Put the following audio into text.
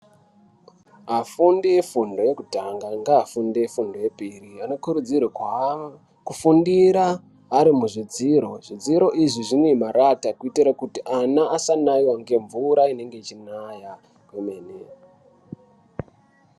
Afundi efundo yekutanga ngaafundi efundo yepiri anokurudzirwa kuha kufundira ari muzvidziro. Zvidziro izvi zvine marata kuitire kuti ana asanaive nemvura inenge ichinaya kwemene.